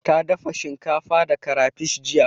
Ta dafa shinkafa da karafish jiya.